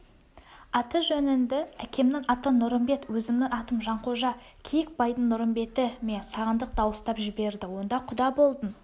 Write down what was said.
аты-жөніңді әкемнің аты нұрымбет өзімнің атым жанқожа киікбайдың нұрымбеті ме сағындық дауыстап жіберді онда құда болдың